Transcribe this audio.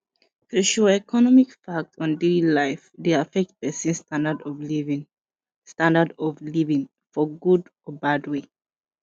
socioeconomic impact on daily life de affect persin standard of living standard of living for good or bad way